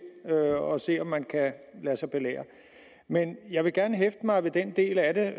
og se om man kan lade sig belære men jeg vil gerne hæfte mig ved den del af